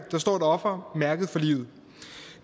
der står et offer mærket for livet